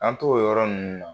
An t'o o yɔrɔ ninnu na